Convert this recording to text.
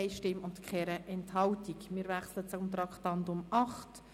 Wir wechseln zum Traktandum 8: